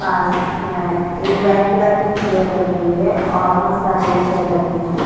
पास में एक white colour की चेयर रखी हुई है और बहोत सारे भी चेयर रखे है।